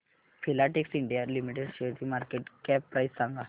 Filatex India limited शेअरची market cap price सांगा